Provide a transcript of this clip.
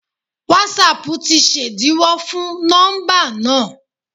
Wásapù tí ṣẹ̀díwọ́ fún nọ́mbà náà.?